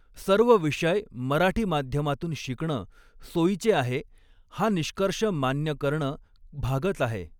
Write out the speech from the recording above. सर्व विषय मराठी माध्यमातून शिकणं सोयीचे आहे हा निष्कर्ष मान्य करणं भागच आहे.